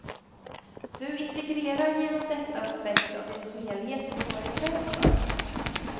Du integrerar genom detta aspekter av din helhet som du varit rädd för.